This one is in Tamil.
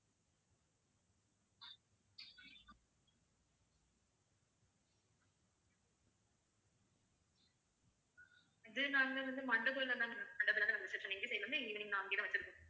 இது நாங்க வந்து மண்டபத்தில் தான் ma'am மண்டபத்தில் தான் நாங்க recption எங்க side ல இருந்து evening நாங்களே தான் வெச்சிருக்கோம்